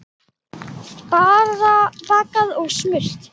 Bakað og smurt.